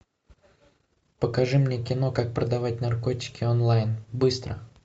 покажи мне кино как продавать наркотики онлайн быстро